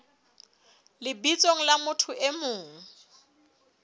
lebitsong la motho e mong